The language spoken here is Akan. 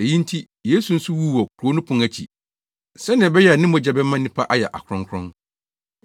Eyi nti, Yesu nso wuu wɔ kurow no pon akyi, sɛnea ɛbɛyɛ a ne mogya bɛma nnipa ayɛ akronkron.